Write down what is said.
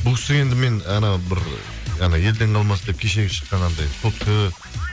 бұл кісіге енді мен бір елден қалмасын деп кешегі шыққан анандай сотка